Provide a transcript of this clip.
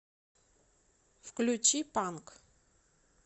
включи панк